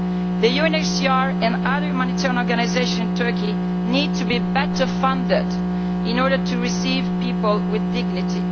The UNHCR and other monitoring organisations in Turkey need to be better funded in order to receive people with dignity.